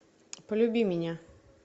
полюби меня